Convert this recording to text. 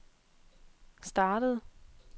startede